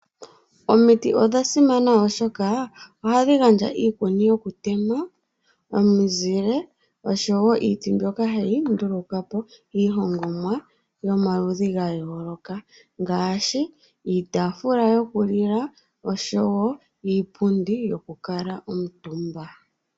Omiti odha simana oshoka ohadhi gandja iikuni ,omuzile oshowo ohayeeta po iilongonwa yomaludhi gayooloka ngaashi iitafula yoku lila oshowo iipundi yokukala omutumba